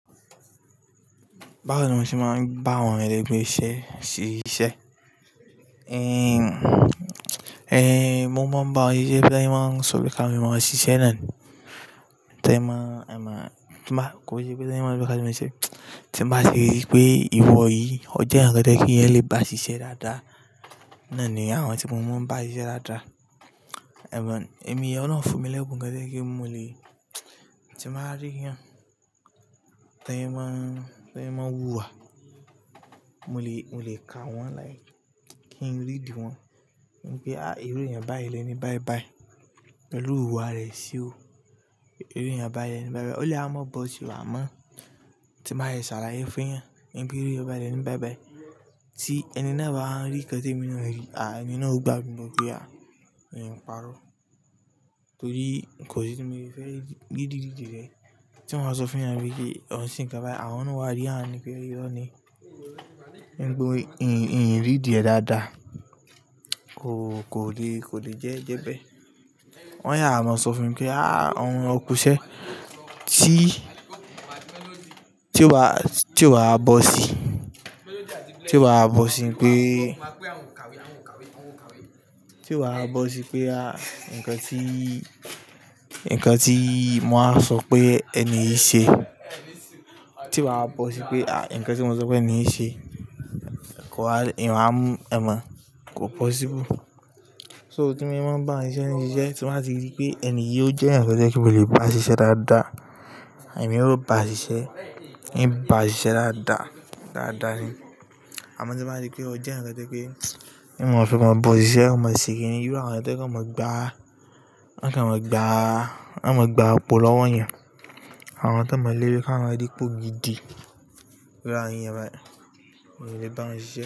Báwo ni mo ṣe máa ń bá àwọn èlègbé iṣẹ́ ṣíṣe? Eh, eh, mo máa ń bá wọn ṣíṣe bí ẹni máa ń sọ bí ká mọ́ ọ ṣíṣe náà ni. Tẹ́ ẹ máa, ẹ máa, tí bá, kò sí pé ẹni máa ń rí ká bí mo ṣe, tí mo bá rí pé ìwọ yìí, o jẹ́ ǹkan tí kí ẹ lè bá ṣíṣe dáadáa, náà ni àwọn tí mo máa ń bá ṣíṣe dáadáa. Ẹ̀wà, èmi ọ̀nà fún mi lẹ́bi ǹkan tí ẹ kí n mo lè, tí mo bá rí i ẹ́, tẹ́ ẹ máa, tẹ́ ẹ máa wúwa, mo lè, mo lè ka wọ́n láìpẹ́ kí n rí di wọ́n. Wípé, "à íru eyan báyìí lẹ́ni báibái, pẹ̀lú ìrùwà rẹ̀ sí o. Ìru eyan báyìí lẹ́ni báibái." Ó lè wa má bọ́ sí i à má. Tí mo bá sàlàyé fún ẹyan pé ìru eyan báyìí lẹ́ni báibái tí ẹni náà bá rí ǹkan tí èmi náà rí, à ẹni náà ó gbà mi gbo pé a, mi o parọ́. Torí kò sí tí mo fi fẹ́ rí gidi-gidi rẹ̀. Tí mo máa sọ fún ẹ ní wípé, ó ń ṣe ǹkan báyìí, àwọn náà wá rí ha ní pé ìrọ́ ni. Níbo, ìrì dídì ẹ dáadáa kò, kò lè, kò lè jẹ́ ẹ́ jẹ́ bẹ́ẹ̀. Wọ́n yáa máa sọ fún mi pé, "á okùnṣẹ́ tí, tí ó bá, tí ó bá bọ́ sí, tí ó bá bọ́ sí wípé, tí ó bá bọ́ sí pé a ǹkan tí, ǹkan tí mo máa sọ pé ẹni ṣe, tí ó bá bọ́ sí pé a ǹkan tí mo sọ pé ẹni ṣe kò ha, ìwà ẹ́ máa, kò possible." So tí mo máa ń bá wọn ṣe iṣẹ́ ni ṣíṣe, tí màá ti rí pé ẹni yí ó jẹ́ ǹkan tí ẹ kí n mo lè bá ṣíṣe dáadáa, èmi yóò bá ṣíṣe, ì bá ṣíṣe dáadáa, dáadáa ni. Tí mo bá sàlàyé fún ẹ ní pé ìròyìn báyìí lẹ́ni báibái tí ẹni náà bá rí ǹkan tí èmi náà rí, à ẹni náà ó gbàgbé o pé a, èyí ń parọ́. Torí kò sí tí mo fi fẹ́ rí gidi-gidi rẹ̀. Tí mo máa sọ fún ẹ ní wípé, ó ń ṣe ǹkan báyìí, àwọn náà wá rí ha ní pé ìrọ́ ni. Níbo, ìrì dídì ẹ dáadáa kò, kò lè, kò lè jẹ́ ẹ́ jẹ́ bẹ́ẹ̀. Wọ́n yáa máa sọ fún mi pé, "á à ǹkan okùnṣẹ́